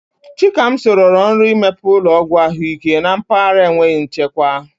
Chikamso rọrọ nrọ imepe ụlọọgwụ ahụike na mpaghara enweghị nchekwa.